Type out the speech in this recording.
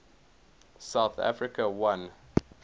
south africa won